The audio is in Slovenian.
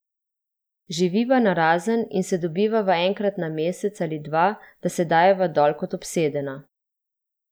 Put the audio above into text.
Živiva narazen in se dobivava enkrat na mesec ali dva, da se dajeva dol kot obsedena.